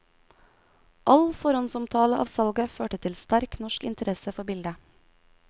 All forhåndsomtale av salget førte til sterk norsk interesse for bildet.